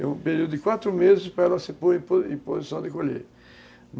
É um período de quatro meses para ela se pôr em po posição de colher.